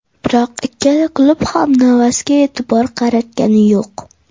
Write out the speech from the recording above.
Biroq ikkala klub ham Navasga e’tibor qaratgani yo‘q.